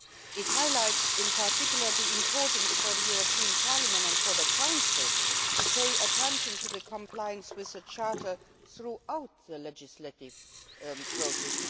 It highlights, in particular, how important it is for the European Parliament and for the Council to pay attention to compliance with the charter throughout the legislative process.